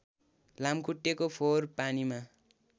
लामुखट्टे फोहोर पानीमा